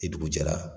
Ni dugu jɛra